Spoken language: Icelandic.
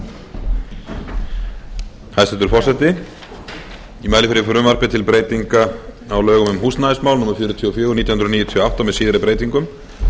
forseti ég mæli fyrir frumvarpi til breytinga á lögum um húsnæðismál númer fjörutíu og fjögur nítján hundruð níutíu og átta með síðari breytingum